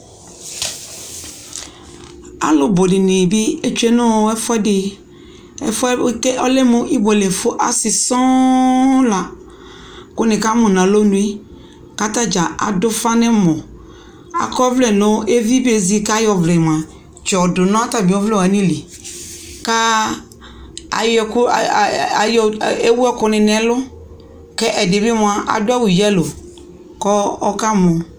Alʋ bʋdɩnɩ bɩ etsue nɔɔ ɛfʋɛdɩ, ɛfʋɛ ekele ɔ́lɛ mʋ ibuelefʋ , asɩ sɔɔ la kʋ nɩkamʋ n'alonue K'atadza adʋfa n'ɛmɔ, akɔvlɛ n'ɔ ɔ evi bezi k'ayɔ ɔvlɛ mʋa tsɩ yɔ dʋ n'atamɩ ɔvlɛwanɩ li; kaa ayɔkʋ aay ayɔ ewuɛkʋnɩ n'ɛlʋ K'ɛdɩ bɩ mʋa adʋ awʋ yelo k'ɔkamɔ